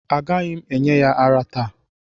Agaghị m enye ya ara taa